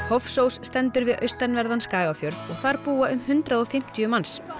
Hofsós stendur við austanverðan Skagafjörð og þar búa um hundrað og fimmtíu manns